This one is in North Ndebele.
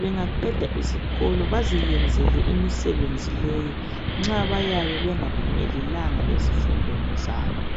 bengaqeda isikolo baziyenzele imisebenzi leyi nxa beyabe bengaphumelelanga ezifundweni zabo.